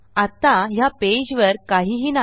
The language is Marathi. आत्ता ह्या पेजवर काहीही नाही